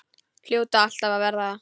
Hljóta alltaf að verða það.